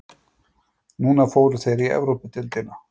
Núna fóru þeir í Evrópudeildina.